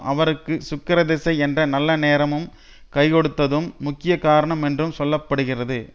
அவருக்கு சுக்கிரதிசை என்ற நல்ல நேரமும் கைக்கொடுத்ததும் முக்கிய காரணம் என்றும் சொல்ல படுகிறது